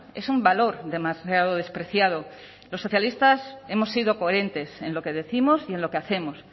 es un valor demasiado despreciado los socialistas hemos sido coherentes en lo que décimos y en lo que hacemos